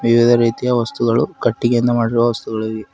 ವಿವಿಧ ರೀತಿಯ ವಸ್ತುಗಳು ಕಟ್ಟಿಗೆಯಿಂದ ಮಾಡಿರುವ ವಸ್ತುಗಳು ಇವೆ.